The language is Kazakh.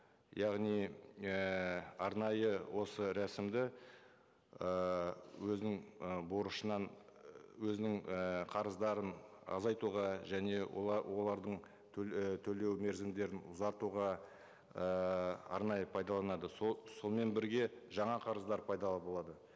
яғни ііі арнайы осы рәсімді ыыы өзінің ы борышынан өзінің і қарыздарын азайтуға және олардың і төлеу мерзімдерін ұзартуға ыыы арнайы пайдаланады сонымен бірге жаңа қарыздар пайда болады